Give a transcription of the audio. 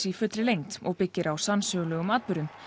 í fullri lengd og byggir á sannsögulegum atburðum